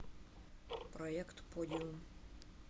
проект подиум